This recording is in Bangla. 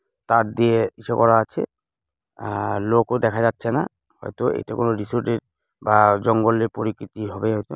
তার দিয়ে ইসে করা আছে আ -আর লোকও দেখা যাচ্ছে না হয়তো এটা কোনো রিসোর্ট -এর বা জঙ্গলের পরী কৃতি হবে হয়তো।